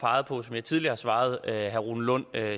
peget på og som jeg tidligere har svaret herre rune lund